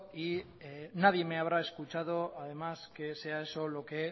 y nadie me habrá escuchado que sea eso lo que